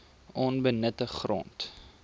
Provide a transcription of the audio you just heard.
onbenutte grond